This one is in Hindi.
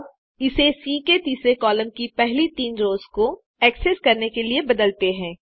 अब इसे सी के तीसरे कॉलम की पहली तीन रोस को एक्सेस करने के लिए बदलते हैं